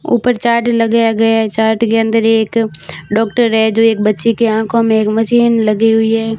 ऊपर चार्ट लगाया गया है चार्ट के अंदर एक डॉक्टर है जो एक बच्चे की आंखों में एक मशीन लगी हुई है।